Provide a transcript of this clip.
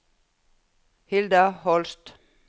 Hilda Holst